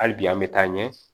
Hali bi an bɛ taa ɲɛ